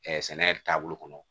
sɛnɛ taabolo kɔnɔ